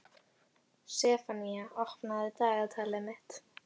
Sefanía, opnaðu dagatalið mitt.